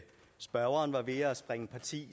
ti